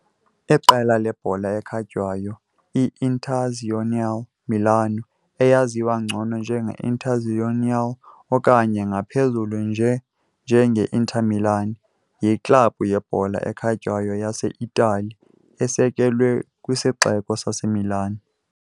Iqela lebhola ekhatywayo i-Internazionale Milano, eyaziwa ngcono njenge - Internazionale okanye ngaphezulu nje njenge - Inter Milan, yiklabhu yebhola ekhatywayo yase-Itali esekelwe kwisixeko saseMilan.